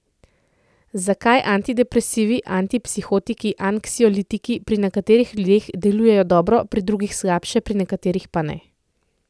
Zakaj antidepresivi, antipsihotiki, anksiolitiki pri nekateri ljudeh delujejo dobro, pri drugih slabše, pri nekaterih pa ne?